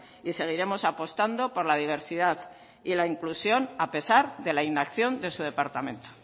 y seguiremos apostando por la diversidad y en la inclusión a pesar de la inacción de su departamento